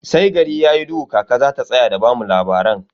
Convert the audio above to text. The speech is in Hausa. Sai gari yayi duhu kaka zata tsaya da bamu labaran.